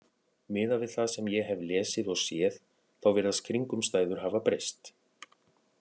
Miðað við það sem ég hef lesið og séð, þá virðast kringumstæður hafa breyst.